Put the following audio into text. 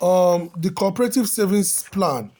um the cooperative savings plan